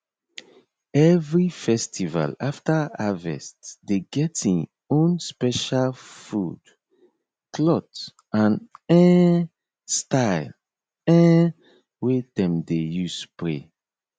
every festival after harvest dey get en own special food cloth and um style um wey dem dey use pray